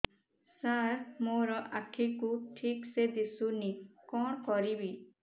ସାର ମୋର ଆଖି କୁ ଠିକସେ ଦିଶୁନି କଣ କରିବି